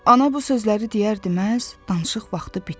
Ana bu sözləri deyərdi, məhz danışıq vaxtı bitdi.